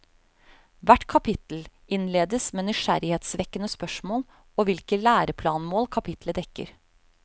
Hvert kapittel innledes med nysgjerrighetsvekkende spørsmål og hvilke læreplanmål kapitlet dekker.